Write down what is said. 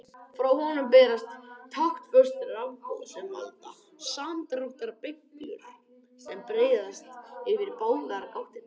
Frá honum berast taktföst rafboð sem valda samdráttarbylgjum sem breiðast yfir báðar gáttirnar.